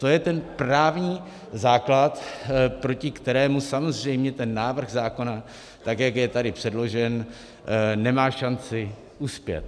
To je ten právní základ, proti kterému samozřejmě ten návrh zákona, tak jak je tady předložen, nemá šanci uspět.